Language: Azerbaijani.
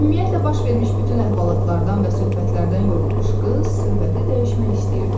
Ümumiyyətlə baş vermiş bütün əhvalatlardan və söhbətlərdən yorulmuş qız söhbəti dəyişmək istəyirdi.